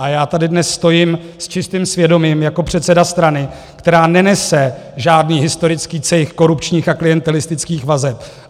A já tady dnes stojím s čistým svědomím jako předseda strany, která nenese žádný historický cejch korupčních a klientelistických vazeb.